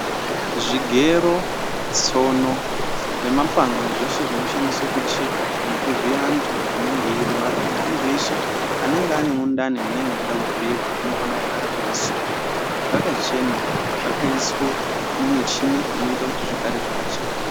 Zvigero, tsono nemapanga nezveshe zvinoshandiswa kucheka nekuvhiye antu anenge achirwara neantu eshe anenge ane mundani munenge meide kuvhiyiwa zvinenge zveide kugara zvakasukwa zvakachena zvakaiswe mumicheni inoite kuti zvigare zvakachena.